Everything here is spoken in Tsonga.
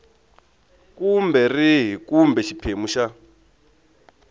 kumbe rihi kumbe xiphemu xa